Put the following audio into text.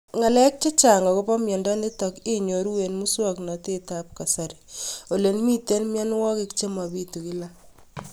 Ng'alek chechang' akopo miondo nitok inyoru eng' muswog'natet ab kasari ole mito mianwek che mapitu kila